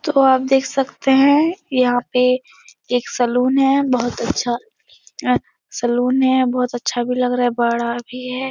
तो आप देख सकते हैं यहाँ पे एक सैलून है । बहुत अच्छा सैलून है । बहुत अच्छा भी लग रहा है । बड़ा भी है ।